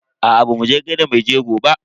Aa bamu je gaida maijego ba.